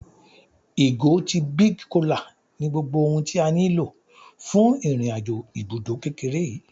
Ìgò ti big cola ní gbogbo ohun tí a nílò fún irin-àjò ibùdó kékeré yìí